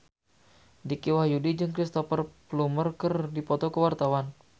Dicky Wahyudi jeung Cristhoper Plumer keur dipoto ku wartawan